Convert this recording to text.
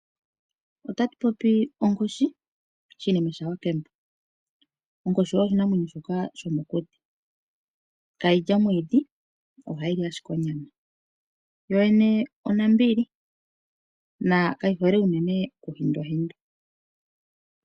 Otatu popi onkoshi, Shinime shaWakemba onkoshi oyo oshinamwenyo shoka shomokuti ihaashi li omwiidhi, ohashi li ashike onyama yo yene onambili na kayi hole uunene oku hindwahindwa.